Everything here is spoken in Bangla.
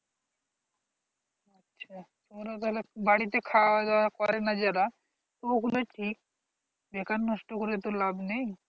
আচ্ছা তোরা তাহলে বাড়িতে খাওয়া দাও করেন যে তো ও গুলোই ঠিক বেকার নষ্ট করে তো লাভ নাই